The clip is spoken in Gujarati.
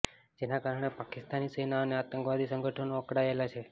જેના કારણે પાકિસ્તાની સેના અને આતંકવાદી સંગઠનો અકળાયેલા છે